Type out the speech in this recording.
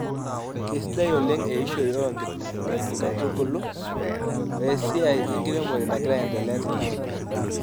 Keisidai oleng eishoi oo nkaitubulu oesiai enkiremore nagira aendelea tina aalo.